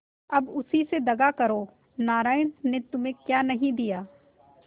अब उसी से दगा करो नारायण ने तुम्हें क्या नहीं दिया